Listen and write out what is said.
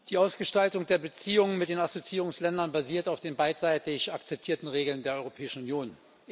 Herr Präsident! Die Ausgestaltung der Beziehungen mit den Assoziierungsländern basiert auf den beidseitig akzeptierten Regeln der Europäischen Union.